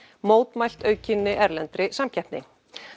mótmælt aukinni erlendri samkeppni